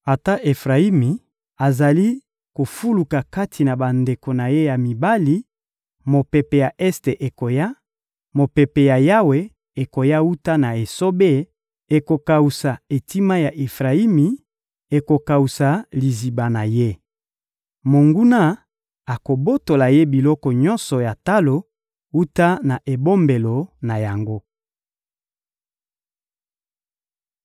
Ata Efrayimi azali kofuluka kati na bandeko na ye ya mibali, mopepe ya este ekoya, mopepe ya Yawe ekoya wuta na esobe: ekokawusa etima ya Efrayimi, ekokawusa liziba na ye. Monguna akobotola ye biloko nyonso ya talo wuta na ebombelo na yango.»